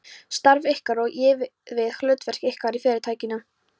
Starf ykkar, á ég við, hlutverk ykkar í Fyrirtækinu.